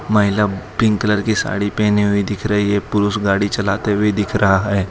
महिला pink colour की साड़ी पहनी हुई दिख रही है पुरुष गाड़ी चलाते हुए दिख रहा है।